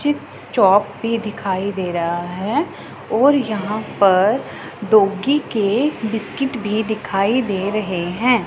Chip चोप भी दिखाई दे रहा है और यहां पर डॉगी के बिस्किट भी दिखाई दे रहे हैं।